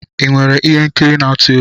Ị nwere ihe nkiri n'atu egwu?